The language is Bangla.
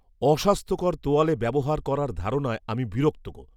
অস্বাস্থ্যকর তোয়ালে ব্যবহার করার ধারণায় আমি বিরক্ত।